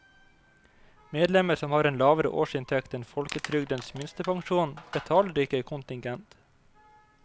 Medlemmer som har en lavere årsinntekt enn folketrygdens minstepensjon, betaler ikke kontingent.